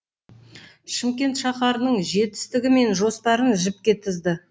шымкент шаһарының жетістігі мен жоспарын жіпке тізді